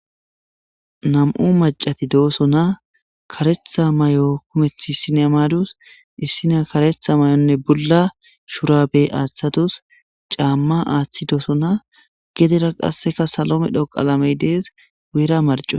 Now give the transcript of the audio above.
Nam'u macati dooso na karetha may'o kumethi sine madus issina karetha may'onne bulla shurabe aaththadus caamma aaththi dooso na gedera qasseka salome dhoqaalamey dees weera marco.